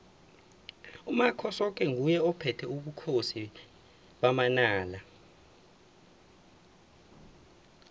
umakhosoke nguye ophethe ubukhosi bamanala